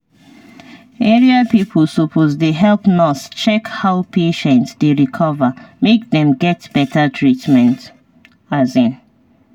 area people suppose dey help nurse check how patient dey recover make dem get better treatment. um